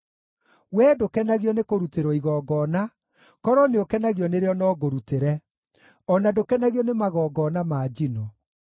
Wee ndũkenagio nĩ kũrutĩrwo igongona, korwo nĩũkenagio nĩrĩo no ngũrutĩre; o na ndũkenagio nĩ magongona ma njino.